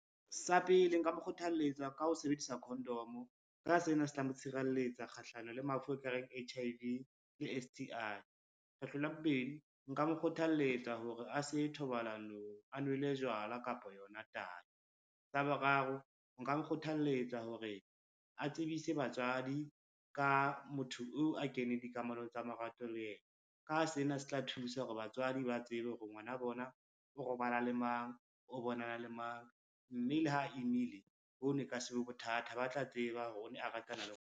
Sa pele nka mo kgothalletsa ka ho sebedisa condom, ka sena se tla mo tshireletsa kgahlano le mafu ekareng H_I_V le S_T_I. Kgetlo la bobedi, nka mo kgothaletsa hore a se thobalanong a nwele jwala kapa yona tai, sa boraro nka nkgothaletsa hore a tsebise batswadi ka motho oo a keneng dikamanong tsa marato le yena, ka sena se tla thusa hore batswadi ba tsebe hore ngwana bona o robala le mang, o bonana le mang, mme le ha a imile ho no e ka se be bothata ba tla tseba hore o ne a ratana le .